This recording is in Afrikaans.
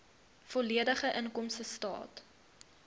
volledige inkomstestaat